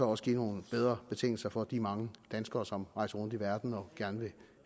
også give nogle bedre betingelser for de mange danskere som rejser rundt i verden og gerne vil